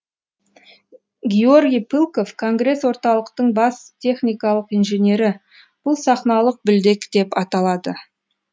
георгий пылков конгресс орталықтың бас техникалық инженері бұл сахналық білдек деп аталады